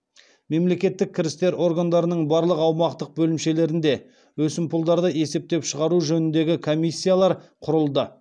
мемлекеттік кірістер органдарының барлық аумақтық бөлімшелерінде өсімпұлдарды есептен шығару жөніндегі комиссиялар құрылды